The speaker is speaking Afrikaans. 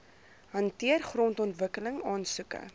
hanteer grondontwikkeling aansoeke